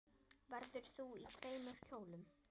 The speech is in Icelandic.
Verður þú í tveimur kjólum?